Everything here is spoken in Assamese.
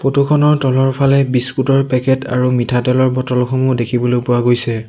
ফটো খনৰ তলৰ ফালে বিস্কুট ৰ পেকেট আৰু মিঠাতেলৰ বটল সমূহ দেখিবলৈ পোৱা গৈছে।